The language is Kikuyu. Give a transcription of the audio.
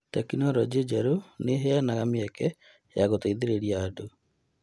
Tekinolonjĩ njerũ nĩ ĩheanaga mĩeke ya gũteithĩrĩria andũ.